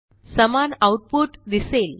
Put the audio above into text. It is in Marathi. समान आऊटपुट दिसेल